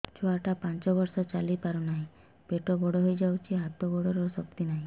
ଛୁଆଟା ପାଞ୍ଚ ବର୍ଷର ଚାଲି ପାରୁନାହଁ ପେଟ ବଡ ହୋଇ ଯାଉଛି ହାତ ଗୋଡ଼ର ଶକ୍ତି ନାହିଁ